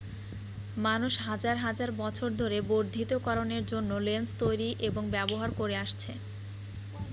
মানুষ হাজার হাজার বছর ধরে বর্ধিতকরণের জন্য লেন্স তৈরি এবং ব্যবহার করে আসছে